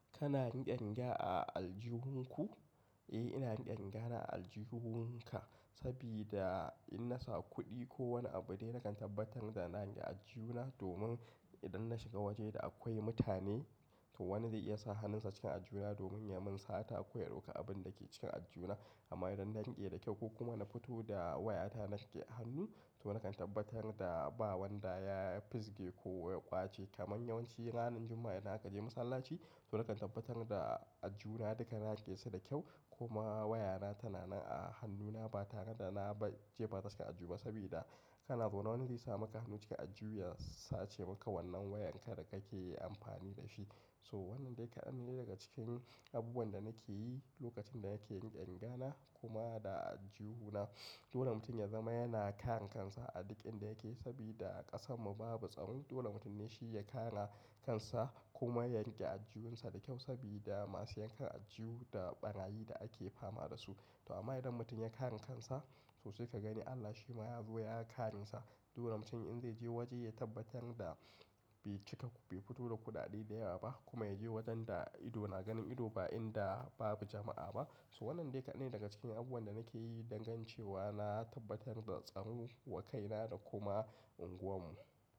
Kana riƙe riga a aljihun ku? Eh, ina riƙe riga na a aljihunka sabida in na sa kuɗi ko wani abu dai na kan tabbatar da na riƙe aljihuna domin idan na shiga waje da akwai mutane to wani zai iya sa hannunsa cikin aljihuna domin ya mun sata ko ya dauka abin da ke cikin aljihuna. Amma idan na riƙe da kyau ko kuma na fito da wayata na riƙe hannu to na kan tabbatar da ba wanda ya fisge ko ya ƙwace. Kaman yawanci ranar Juma'a idan aka je masallaci to na kan tabbatar da aljihuna duka na riƙe su da kyau kuma wayana tana nan a hannuna ba tare da na jefa ta cikin aljuna sabida kana tsoron wani zai sa maka hannu cikin aljihu ya sace maka wannan wayan ka da kake yi amfani da shi. So wannan dai kaɗan ne daga cikin abubuwan da nake yi lokacin da nake riƙe riga na kuma da aljihuna. Dole mutum ya zama yana kare kansa a duk inda yake sabida a ƙasarmu babu tsaro. Dole mutum ne shi ya kare kansa kuma ya riƙe aljihunsa da kyau sabida masu yankan aljihu da ɓarayi da ake fama da su. To amma idan mutum ya kare kansa to sai ka gani Allah shi ma ya zo ya kare sa. Dole mutum in zai je waje ya tabbatar da bai cika bai fito da kuɗaɗe da yawa ba kuma ya je wajen da ido na ganin ido ba inda babu jama'a ba. To wannan dai kaɗan ne daga cikin abubuwan da nake yi dangan ce wa na tabbatar da tsaro wa kaina da kuma unguwarmu.